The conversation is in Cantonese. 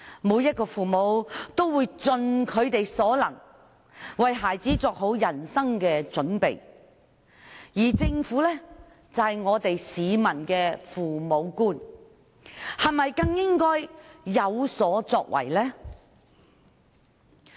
每位父母也會盡其所能，為孩子作好人生準備，而政府是市民的父母官，是否更應該有所作為呢？